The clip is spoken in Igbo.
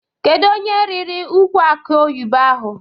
Kedu onye rịrị ukwụ akị oyibo ahụ?